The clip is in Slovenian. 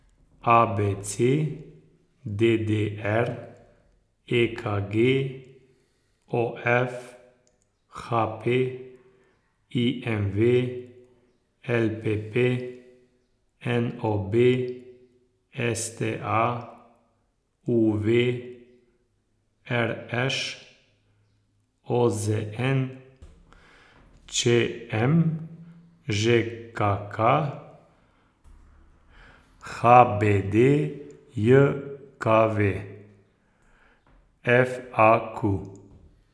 A B C; D D R; E K G; O F; H P; I M V; L P P; N O B; S T A; U V; R Š; O Z N; Č M; Ž K K; H B D J K V; F A Q.